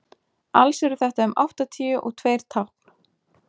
alls eru þetta um áttatíu og tveir tákn